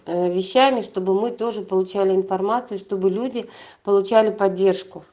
ээ вещами чтобы мы тоже получали информацию чтобы люди получали поддержку